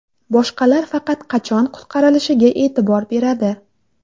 Boshqalar faqat qachon qutqarilishiga e’tibor beradi.